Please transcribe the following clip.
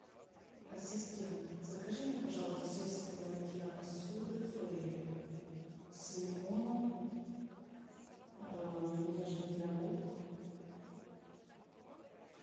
ассистент закажи мне пожалуйста средство для мытья посуды фейри с лимоном нежный для рук